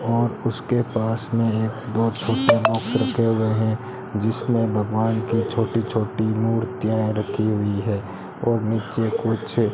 और उसके पास में एक दो छोटे रखे हुए हैं जिसमें भगवान की छोटी छोटी मूर्तियां रखी हुई है और नीचे कुछ --